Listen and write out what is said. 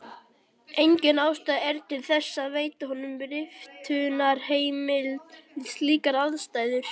Engin ástæða er til þess að veita honum riftunarheimild við slíkar aðstæður.